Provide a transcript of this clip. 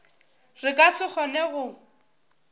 re ka se kgone go